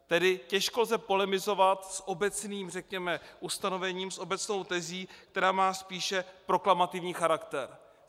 Tedy těžko lze polemizovat s obecným, řekněme, ustanovením, s obecnou tezí, která má spíše proklamativní charakter.